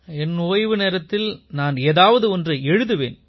என் ஓய்வு நேரத்தில் நான் ஏதாவது ஒன்றை எழுதுவேன்